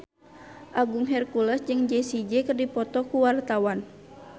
Agung Hercules jeung Jessie J keur dipoto ku wartawan